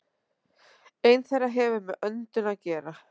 Ein þeirra hefur með öndun að gera.